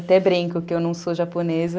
Até brinco que eu não sou japonesa.